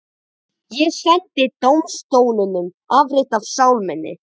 Ég sendi dómstólunum afrit af sál minni.